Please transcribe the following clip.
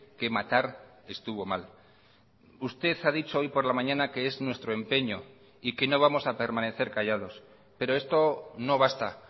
que matar estuvo mal usted ha dicho hoy por la mañana que es nuestro empeño y que no vamos a permanecer callados pero esto no basta